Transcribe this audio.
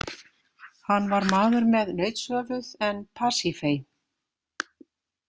Hann var maður með nautshöfuð en Pasifae.